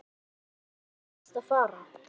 Hvert langar þig helst til að fara?